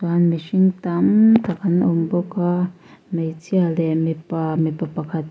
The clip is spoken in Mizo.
an mihring tam tak an awm bawk a hmeichhia leh mipa mipa pakhat--